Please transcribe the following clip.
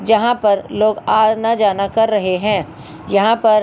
जहां पर लोग आना जाना कर रहे हैं यहां पर--